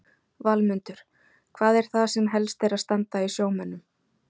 Valmundur, hvað er það sem helst er að standa í sjómönnum?